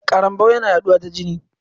Karambau yana yaɗuwa ta jini.